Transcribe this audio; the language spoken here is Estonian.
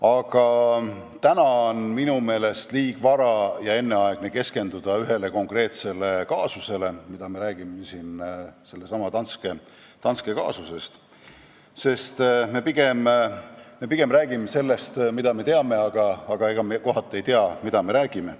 Aga täna on minu meelest liiga vara ja enneaegne keskenduda ühele konkreetsele kaasusele, millest me siin räägime , sest me räägime pigem sellest, mida me teame, aga ega me kohati ei tea, mida me räägime.